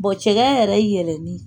cɛkɛ yɛrɛ yɛlɛni.